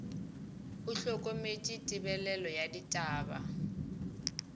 o hlokometše tebelelo ya ditaba